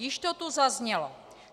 Již to tu zaznělo.